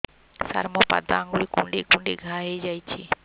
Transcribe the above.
ସାର ମୋ ପାଦ ଆଙ୍ଗୁଳି କୁଣ୍ଡେଇ କୁଣ୍ଡେଇ ଘା ହେଇଯାଇଛି